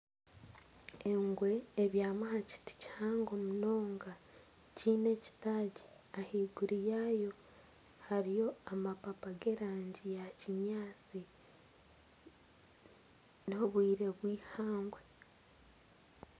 Engwe ebyami ahakiti kihango munonga kyine ekitagi ahiguru yayo hariyo amapapa gerangi ya kinyaasti. N'obwire bwihangwe.